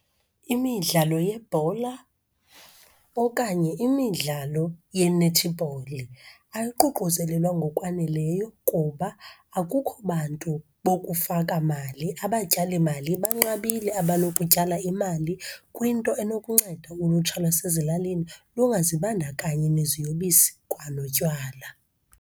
Imidlalo yebhola okanye imidlalo yenethibholi ayiququzelelwa ngokwaneleyo kuba akukho bantu bokufaka mali. Abatyalimali banqabile abanokutyala imali kwinto enokunceda ulutsha lwasezilalini lungazibandakanyi neziyobisi kwanotywala.